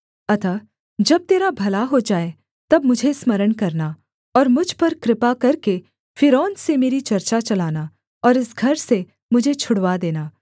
अतः जब तेरा भला हो जाए तब मुझे स्मरण करना और मुझ पर कृपा करके फ़िरौन से मेरी चर्चा चलाना और इस घर से मुझे छुड़वा देना